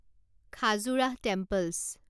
Khajuraho temples